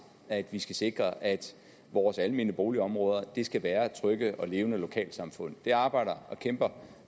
at vi skal sikre at vores almene boligområder skal være trygge og levende lokalsamfund det arbejder og kæmper